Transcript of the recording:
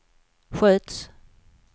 sköts